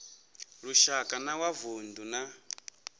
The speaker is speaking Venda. lushaka na wa vundu na